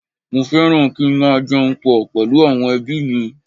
Mo fẹ́ràn kí n máa jẹun pọ̀ pẹ̀lú àwọn ẹbí mi